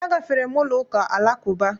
Agafere m ụlọụka Alakụba